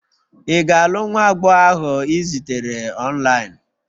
Ị ga-alụ nwa agbọghọ ahụ ị zutere online?